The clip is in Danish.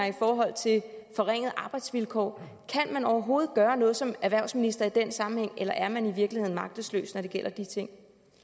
i forhold til forringede arbejdsvilkår kan man overhovedet gøre noget som erhvervsminister i den sammenhæng eller er man i virkeligheden magtesløs når det gælder de ting